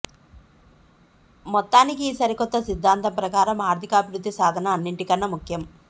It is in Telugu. మొత్తానికి ఈ సరికొత్త సిద్ధాంతం ప్రకారం ఆర్థికాభివృద్ధి సాధన అన్నింటికన్న ముఖ్యం